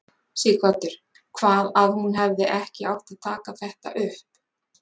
Sighvatur: Hvað að hún hefði ekki átt að taka þetta upp?